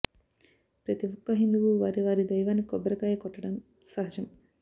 ప్రతి ఒక్క హిందువు వారి వారి దైవానికి కొబ్బరి కాయ కొట్టడం సహజం